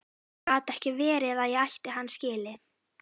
Það gat ekki verið að ég ætti hann skilið.